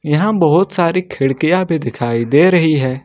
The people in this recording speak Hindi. यहां बहुत सारी खिड़कियां भी दिखाई दे रही है।